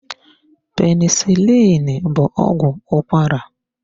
Penisilini bụ ọgwụ ụkwara.